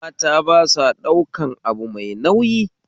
Mata ba sa ɗaukan abu mai nauyi